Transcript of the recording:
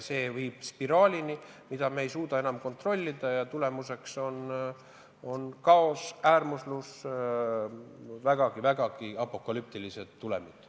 See viiks spiraalini, mida me ei suuda enam kontrollida, ja tagajärjeks on kaos, äärmuslus, vägagi apokalüptilised tulemid.